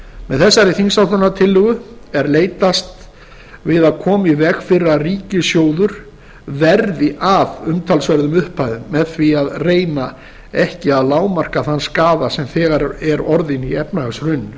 með þessari þingsályktunartillögu er leitast við að koma í veg fyrir að ríkissjóður verði af umtalsverðum upphæðum með því að reyna ekki að lágmarka þann skaða sem þegar er orðinn í